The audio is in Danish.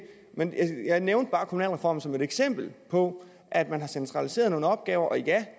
jeg nævnte bare kommunalreformen som et eksempel på at man har centraliseret nogle opgaver og ja